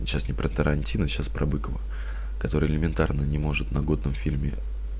сейчас не про тарантино сейчас про быкова который элементарно не может на годном фильме